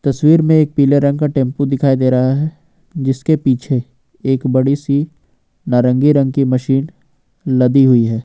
तस्वीर में एक पीले रंग का टेंपू दिखाई दे रहा है जिसके पीछे एक बड़ी सी नारंगी रंग की मशीन लदी हुई है।